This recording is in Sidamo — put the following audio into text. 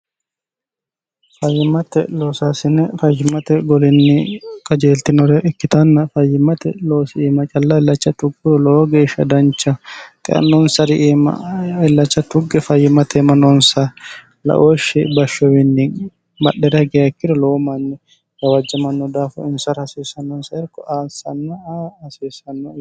fayyimmate loosaasine fayimate golinni kajeeltinore ikkitanna fayyimmate loosi iima callailacha tugguro lowo geeshsha dancha xeannonsari iimillacha tugge fayyimateema nonsa laooshshi bashshowiinni madhera geakkiro lowo manni gawajjamanno daafu insara hasiissannonsa erko aansanna'a hasiissannoe